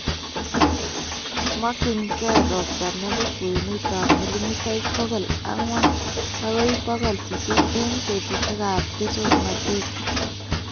makyingei ropta ne po kwenutap milimitaik pogol ang'wan agoi pokol sisit eng' petusiekap tesoknateet.